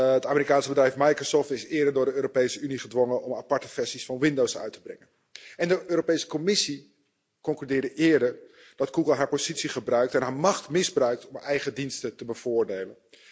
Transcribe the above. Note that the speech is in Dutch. Het Amerikaanse bedrijf Microsoft is eerder door de Europese Unie gedwongen om aparte versies van Windows uit te brengen. De Europese Commissie concludeerde eerder dat Google haar positie gebruikt en haar macht misbruikt om haar eigen diensten te bevoordelen.